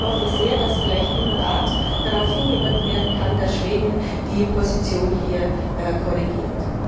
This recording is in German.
Ich hoffe sehr, dass vielleicht im Rat darauf hingewirkt werden kann, dass Schweden seine Position hier korrigiert.